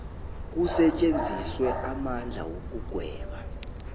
kusetjenziswe amandla wokugweba